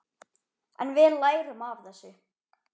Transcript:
En við lærum af þessu.